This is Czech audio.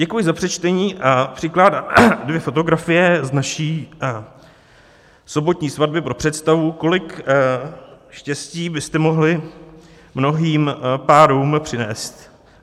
Děkuji za přečtení a přikládám dvě fotografie z naší sobotní svatby pro představu, kolik štěstí byste mohli mnohým párům přinést.